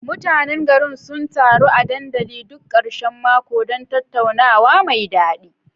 Mutanen garin sun taru a dandalin duk karshen mako don tattaunawa mai dadi.